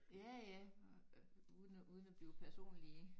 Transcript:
Ja ja uden at uden at blive personlige